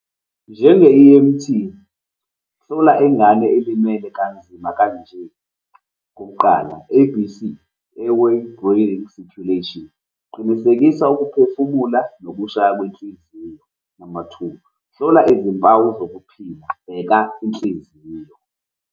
Njenge-E_M_T, hlola ingane elimele kanzima kanje, kuqala A_B_C, Airway, Breathing, Circulation. Qinisekisa ukuphefumula nokushaya kwenhliziyo. Amathuba, hlola izimpawu zokuphila, bheka inhliziyo.